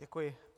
Děkuji.